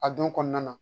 A don kɔnɔna na